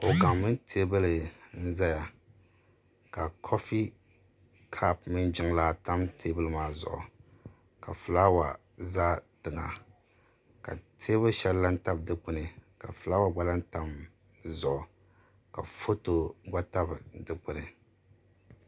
kuɣu gaŋ mini teebuli n ʒɛya ka koofi kaap mini jiŋlaa tam teebuli maa zuɣu ka fulaawa ʒɛ tiŋa ka teebuli shɛli lahi tabi dikpuni ka fulaawa shɛli gba lahi tam dizuɣu ka foto gba tabi dikpuni